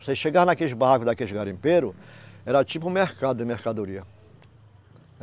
Você chegar naqueles barraco, daqueles garimpeiro, era tipo um mercado de mercadoria.